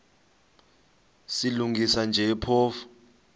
silungisa nje phofu